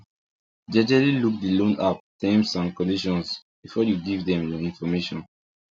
jejely look the loan app terms and conditions before you give dem your information